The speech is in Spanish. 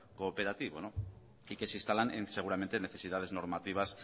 cooperativo y que se instalan seguramente en necesidades normativas